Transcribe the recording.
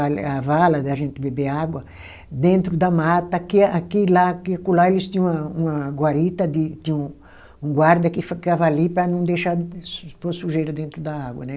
A vala da gente beber água, dentro da mata, aqui aqui e lá, aqui acolá eles tinham uma uma guarita, de tinha um guarda que ficava ali para não deixar pôr sujeira dentro da água, né?